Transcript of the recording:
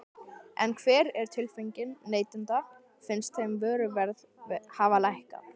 En hver er tilfinningin neytenda, finnst þeim vöruverð hafa lækkað?